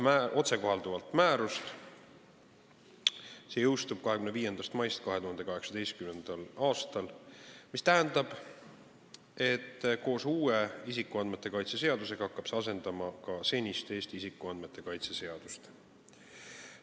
Otsekohalduv määrus jõustub 25. mail 2018. aastal, mis tähendab, et koos uue isikuandmete kaitse seadusega hakkab see asendama senist Eesti isikuandmete kaitse seadust.